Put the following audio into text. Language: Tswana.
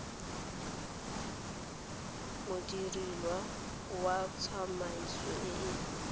modiredi wa tsamaiso e e